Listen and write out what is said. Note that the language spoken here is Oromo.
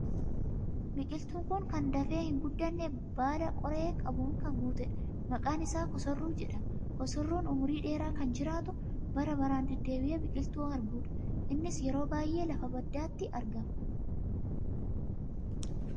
Biqiltuun kun kan dafee hin guddanne, baala qoree qabuun kan guutedha. Maqaan isaa kosorruu jedhama. Kosorruun umurii dheeraa kan jiraatu, bara baraan deddeebi'ee biqiltuu margudha. Innis yeroo baay'ee lafa baddaatti argama.